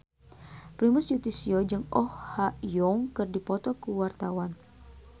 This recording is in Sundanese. Primus Yustisio jeung Oh Ha Young keur dipoto ku wartawan